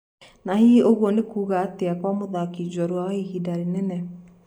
na hihi ũgũo nĩkuga atĩa kwa mũthaki jorua wa ihinda rĩnene